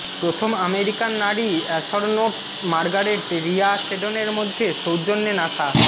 প্রথম আমেরিকান নারী astronauts Margaret Rhea সেডনের মধ্যে সৌজন্যে নাসা